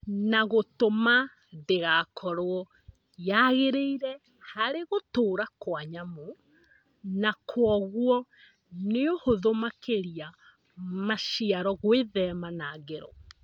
na gũtũma ndĩgakorwo yagĩrĩire harĩ gũtũra Kwa nyamũ na kwoguo nĩũhũthũ makĩria maciaro gwĩthema na ngero.